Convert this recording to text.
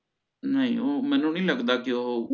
ਨੀ ਓਹ ਮੈਨੂ ਨੀ ਲਗਦਾ ਓਹ